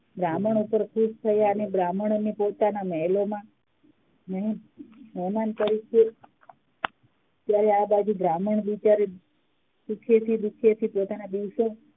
બ્રાહ્મણ ઉપ્પર ખુસ્સ થયા અને બ્રાહ્મણ ને પોતાના મહેલોમાં મહેમાન તરીકે જયારે બ્રાહ્મણ આબાજુ સુખેથી ડુખેથી પોતાના દિવસો